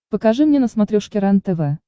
покажи мне на смотрешке рентв